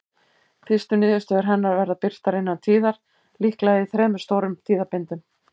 Fyrstu niðurstöður hennar verða birtar innan tíðar, líklega í þremur stórum tíðabindum.